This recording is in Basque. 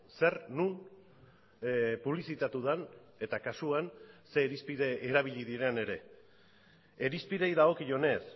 zer non publizitatu den eta kasuan ze irizpide erabili diren ere irizpideei dagokionez